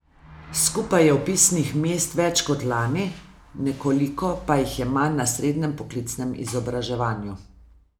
Skupaj je vpisnih mest več kot lani, nekoliko pa jih je manj na srednjem poklicnem izobraževanju.